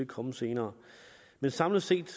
komme senere samlet set